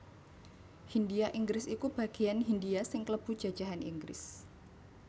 Hindhia Inggris iku bageyan Hindhia sing klebu jajahan Inggris